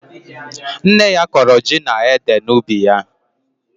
Nne ya kọrọ ji na ede n'ubi ya.